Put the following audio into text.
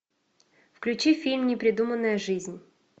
включи фильм непридуманная жизнь